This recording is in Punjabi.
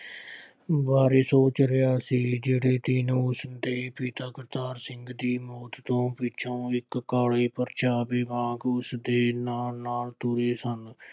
ਬਾਰੇ ਸੋਚ ਰਿਹਾ ਸੀ। ਜਿਹੜੇ ਉਸਦੇ ਪਿਤਾ ਕਰਤਾਰ ਸਿੰਘ ਦੇ ਮੌਤ ਤੋਂ ਪਿੱਛੋ ਇੱਕ ਕਾਲੇ ਪਰਛਾਵੇ ਵਾਂਗ ਉਸਦੇ ਨਾਲ ਨਾਲ ਤੁਰੇ ਸਨ।